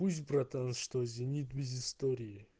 пусть братан что зенит без истории